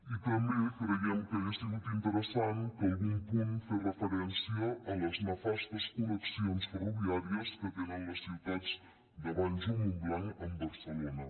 i també creiem que hagués sigut interessant que algun punt fes referència a les nefastes connexions ferroviàries que tenen les ciutats de valls o montblanc amb barcelona